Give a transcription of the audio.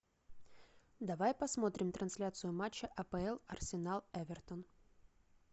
давай посмотрим трансляцию матча апл арсенал эвертон